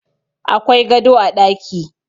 Akwai gado a ɗaki